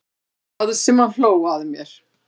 Það sem hann hló að mér.